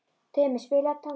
Tumi, spilaðu tónlist.